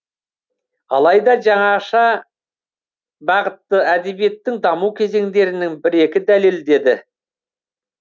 алайда жаңаша бағытты әдебиеттің даму кезеңдерінің бір екі дәлелдеді